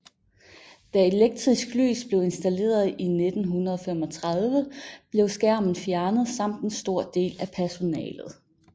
Da elektrisk lys blev installeret i 1935 blev skærmen fjernet samt en stor del af personalet